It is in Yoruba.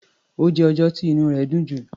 Ó jẹ́ ọjọ́ tí inú rẹ̀ dùn jù.